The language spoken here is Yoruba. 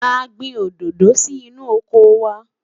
a gbìn òdodo sí inú ọkọ wa